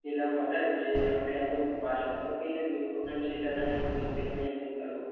পেলাম order যে আমাকে এত মাছ লাগবে আমাকে এনে দিও তখন আমি সেটা না হয় উপস্থিত আমি একদিন পারব।